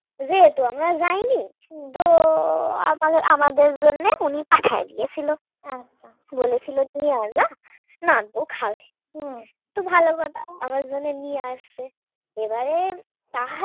যেহেতু আমরা যাইনি, তো আমাদের জন্য উনি পাঠায়ে দিয়েছিল। নিয়ে আসবা তো নাত বউ খাবে তো ভালো কথা আমার জন্য নিয়ে আসবে এবারে তাহারি চিকেন দিয়েও করে